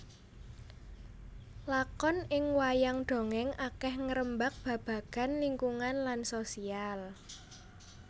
Lakon ing wayang dongèng akeh ngrembag babagan lingkungan lan sosial